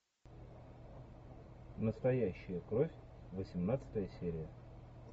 настоящая кровь восемнадцатая серия